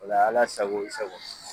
O la Ala sago i sago.